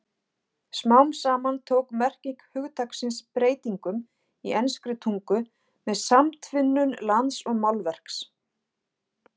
Smám saman tók merking hugtaksins breytingum í enskri tungu með samtvinnun lands og málverks.